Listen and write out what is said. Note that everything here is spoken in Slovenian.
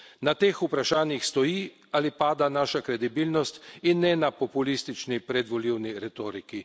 Na teh vprašanjih stoji ali pada naša kredibilnost in ne na populistični predvolilni retoriki.